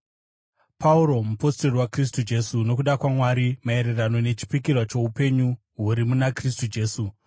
Pauro, mupostori waKristu Jesu nokuda kwaMwari, maererano nechipikirwa choupenyu huri muna Kristu Jesu,